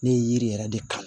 Ne ye yiri yɛrɛ de kalan